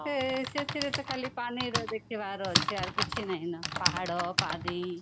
ଆଁ ସେଥିରେ ତା ଖାଲି ପାଣି ର ଦେଖିବାର ଅଛି ଆଉ କିଛି ନାହିଁନା ପାହାଡ ପାଣି